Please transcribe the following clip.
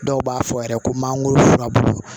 Dɔw b'a fɔ yɛrɛ ko mangoro furabulu